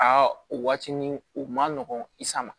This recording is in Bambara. Aa o waati nin u ma nɔgɔn i sama